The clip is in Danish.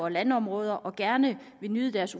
landområder og gerne vil nyde de